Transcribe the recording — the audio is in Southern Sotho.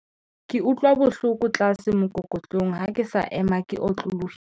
ke utlwa bohloko tlase mookokotlong ha ke sa ema ke otlolohile